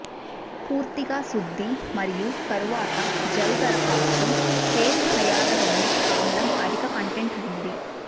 పూర్తిగా శుద్ధి మరియు తరువాత జెల్ దరఖాస్తు ఫేస్ హైయాలురోనిక్ ఆమ్లం అధిక కంటెంట్ ఉంది